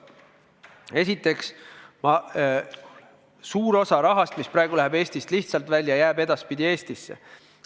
Esiteks, suur osa rahast, mis praegu läheb Eestist lihtsalt välja, jääb edaspidi Eestisse.